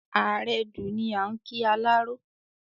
"Àrẹdù" ni à n kí alárọ